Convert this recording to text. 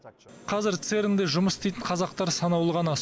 қазір церн де жұмыс істейтін қазақтар санаулы ғана